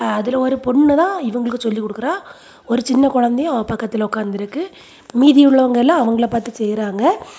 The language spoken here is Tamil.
அதுல ஒரு பொண்ணு தான் இவங்களுக்குச் சொல்லி குடுக்குறா ஒரு சின்ன கொழந்தையும் அவ பக்கத்துல ஒக்காந்திருக்கு மீதி உள்ளவங்க எல்லாம் அவங்கள பாத்து செய்றாங்க.